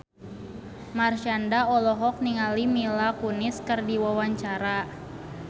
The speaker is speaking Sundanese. Marshanda olohok ningali Mila Kunis keur diwawancara